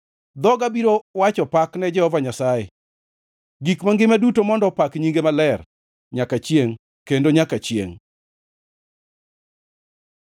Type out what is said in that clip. Dhoga biro wacho pak ne Jehova Nyasaye. Gik mangima duto mondo opak nyinge maler, nyaka chiengʼ kendo nyaka chiengʼ.